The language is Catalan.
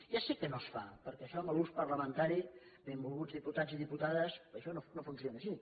ja sé que no es fa perquè això en l’ús parlamentari benvolguts diputats i diputades això no funciona així